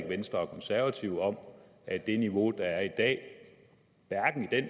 venstre og konservative om at det niveau der er i dag